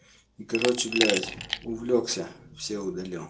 короче блять увлёкся все удалил